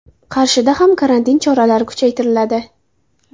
Qarshida ham karantin choralari kuchaytiriladi.